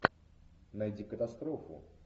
найди катастрофу